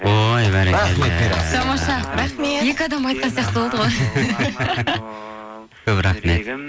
ой бәрекелді тамаша рахмет екі адам айтқан сияқты болды ғой көп рахмет